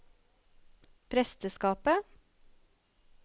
presteskapet